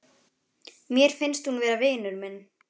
Mér finnst hún vera vinur minn.